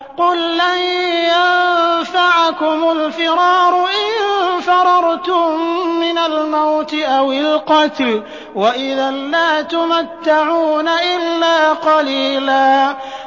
قُل لَّن يَنفَعَكُمُ الْفِرَارُ إِن فَرَرْتُم مِّنَ الْمَوْتِ أَوِ الْقَتْلِ وَإِذًا لَّا تُمَتَّعُونَ إِلَّا قَلِيلًا